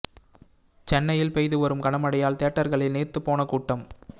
சென்னையில் பெய்து வரும் கன மழையால் தியேட்டர்களில் நீர்த்துப் போன கூட்டம்